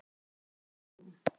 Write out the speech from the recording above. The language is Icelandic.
Heldurðu að þetta sé rúm?